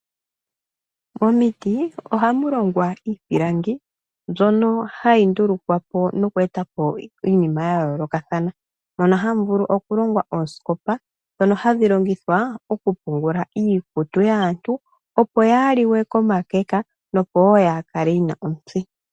Momiti ohamu longwa iipilangi mbyono hayi ndulukapo noku etapo iinima yayoolokathana. Ohamu vulu okulongwa oosikopa , ndhono hadhi longithwa okupungula iikutu yaantu, opo yaaliwe komakeka nokukala yatsima.